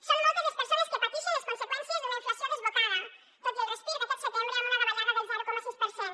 són moltes les persones que patixen les conseqüències d’una inflació desbocada tot i el respir d’aquest setembre amb una davallada del zero coma sis per cent